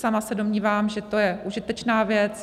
Sama se domnívám, že to je užitečná věc.